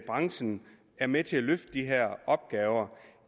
branchen er med til at løfte de her opgaver